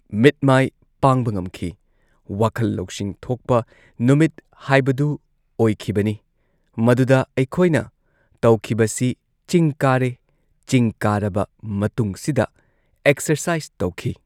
ꯃꯤꯠ ꯃꯥꯏ ꯄꯥꯡꯕ ꯉꯝꯈꯤ ꯋꯥꯈꯜ ꯂꯧꯁꯤꯡ ꯊꯣꯛꯄ ꯅꯨꯃꯤꯠ ꯍꯥꯏꯕꯗꯨ ꯑꯣꯏꯈꯤꯕꯅꯤ ꯃꯗꯨꯗ ꯑꯩꯈꯣꯏꯅ ꯇꯧꯈꯤꯕꯁꯤ ꯆꯤꯡ ꯀꯥꯔꯦ ꯆꯤꯡ ꯀꯥꯔꯕ ꯃꯇꯨꯡꯁꯤꯗ ꯑꯦꯛꯁꯔꯁꯥꯏꯁ ꯇꯧꯈꯤ꯫